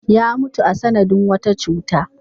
Ya mutu a sanadin wata cuta.